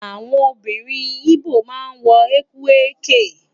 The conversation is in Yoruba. Àwọn obìnrin igbó ma ń wọ Ekwerike